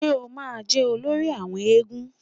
Ṣé o ma jẹ́ olórí àwọn éégún?